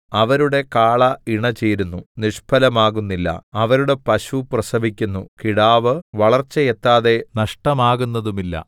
അവരുടെ കാള ഇണചേരുന്നു നിഷ്ഫലമാകുന്നില്ല അവരുടെ പശു പ്രസവിക്കുന്നു കിടാവ് വളർച്ചയെത്താതെ നഷ്ടമാകുന്നതുമില്ല